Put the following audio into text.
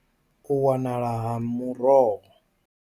Vho ri, U wanala ha miroho.